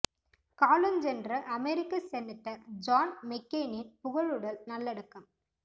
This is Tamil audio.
காலஞ்சென்ற அமெரிக்க செனட்டர் ஜான் மெக்கெய்னின் புகழுடல் நல்லடக்கம்